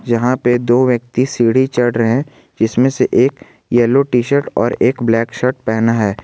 यहां पे दो व्यक्ति सीढ़ी चढ़ रहे हैं जिसमें से एक येलो टी शर्ट और एक ब्लैक शर्ट पहना है।